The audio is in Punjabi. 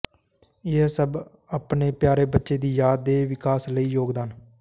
ਇਹ ਸਭ ਆਪਣੇ ਪਿਆਰੇ ਬੱਚੇ ਦੀ ਯਾਦ ਦੇ ਵਿਕਾਸ ਲਈ ਯੋਗਦਾਨ